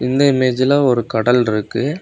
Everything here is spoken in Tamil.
இந்த இமேஜ்ல ஒரு கடல் இருக்கு.